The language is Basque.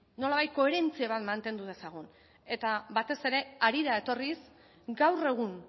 nolabait koherentzia mantendu dezagun eta batez ere harira etorriz gaur egun